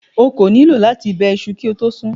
O kò nílò láti bẹ iṣu kí o tó sun ún.